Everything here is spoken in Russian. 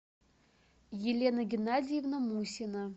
елена геннадьевна мусина